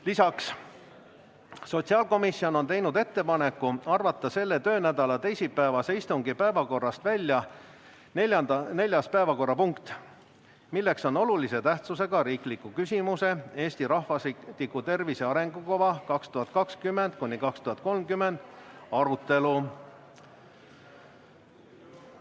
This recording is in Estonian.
Lisaks, sotsiaalkomisjon on teinud ettepaneku arvata selle töönädala teisipäevase istungi päevakorrast välja neljas päevakorrapunkt, olulise tähtsusega riikliku küsimuse "Eesti rahvastiku tervise arengukava 2020–2030" arutelu.